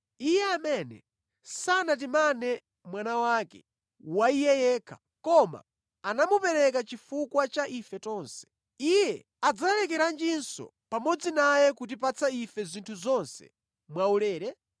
Iye amene sanatimane Mwana wake wa Iye yekha, koma anamupereka chifukwa cha ife tonse. Iye adzalekeranjinso pamodzi naye kutipatsa ife zinthu zonse mwaulere?